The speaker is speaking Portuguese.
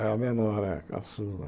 É a menor, é a caçula.